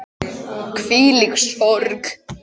Hvílík sorg.